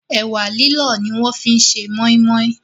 Ẹ̀wà lílọ̀ ni wọ́n fi ṣe Mọ́í mọ́í